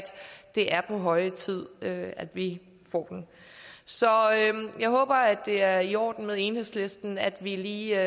det er på høje tid at vi får den så jeg håber det er i orden med enhedslisten at vi lige